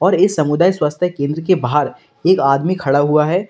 और इस सामुदायिक स्वास्थ्य केंद्र के बाहर एक आदमी खड़ा हुआ है।